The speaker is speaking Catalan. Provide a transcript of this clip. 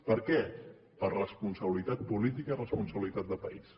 per què per responsabilitat política i responsabilitat de país